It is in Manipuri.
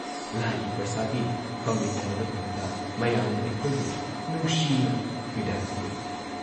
ꯂꯥꯏꯒꯤ ꯄ꯭ꯔꯁꯥꯗꯤ ꯐꯪꯃꯤꯟꯅꯔꯕ ꯇꯨꯡꯗ ꯃꯌꯥꯝꯅ ꯑꯩꯈꯣꯏꯕꯨ ꯅꯨꯡꯁꯤꯅ ꯕꯤꯗꯥꯏ ꯄꯤꯔꯛꯏ